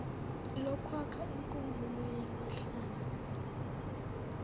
lokwakha inkumbulo yabahlali